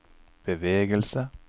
bevegelse